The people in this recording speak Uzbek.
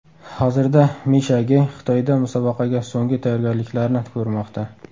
Hozirda Misha Ge Xitoyda musobaqaga so‘nggi tayyorgarliklarni ko‘rmoqda.